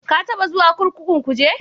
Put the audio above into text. Ka taɓa zuwa kurkukun Kuje?